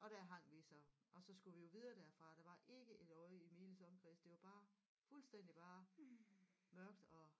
og der hang vi så og så skulle vi jo videre derfra og der var ikke et øje i miles omkreds det var bare fuldstændig bare mørkt og